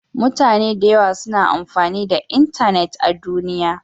Mutane da yawa suna amfani da intanet a duniya.